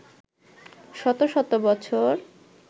শত শত বছর